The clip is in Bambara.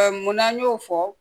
mun n'an y'o fɔ